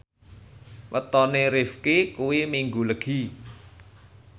wetone Rifqi kuwi Minggu Legi